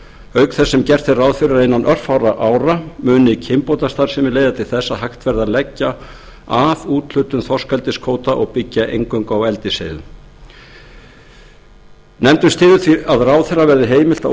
auk þess sem gert er ráð fyrir að innan örfárra ára muni kynbótastarfsemi leiða til þess að hægt verði að leggja af úthlutun þorskeldiskvóta og byggja eingöngu á eldisseiðum nefndin styður því að ráðherra verði heimilt að